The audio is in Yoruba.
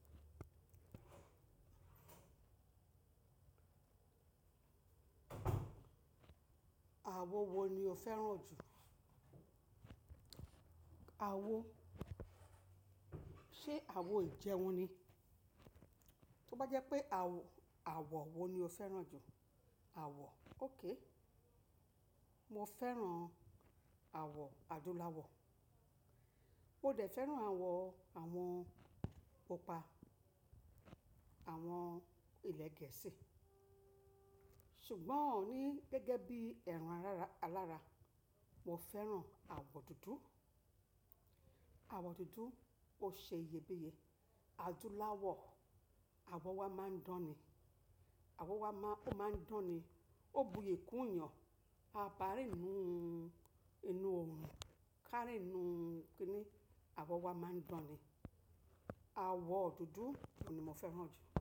Àwọ̀ wo ni o fẹ́ràn jù? Àwo, ṣe àwo Ìjẹ́un ni? Tí ó bá jẹ́ pé àwọ̀ wo ni o fẹ́ràn jù? Àwọ̀, ok. Mo fẹ́ràn àwọ̀ adúláwọ̀. Mo dẹ̀ fẹ́ràn àwọ̀ àwọn pupa, àwọn ilẹ̀ gẹ̀ẹ́sì. Ṣùgbọ́n ní gẹ́gẹ́ bí ẹran alara, mo fẹ́ràn àwọ̀ dúdú. Àwọ̀ dúdú ó ṣe iyebíye. Adúláwọ̀ àwọ̀ wa máa ń dán ni. Àwọ̀ wa ó máa ń dán ni, ó buyi kún iyan, a bá rí inú, inú òrun, ká rí inú kíni, àwọ̀ wa máa ń dán ni. Àwọ̀ dúdú ni mo fẹ́ràn jù.